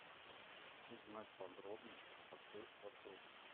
узнать подробности про сейф в отеле